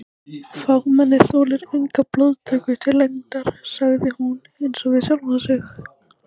Fámennið þolir enga blóðtöku til lengdar sagði hún einsog við sjálfa sig.